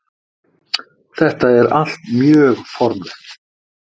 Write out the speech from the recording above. Þetta er allt mjög formlegt